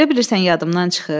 Elə bilirsən yadımdan çıxıb?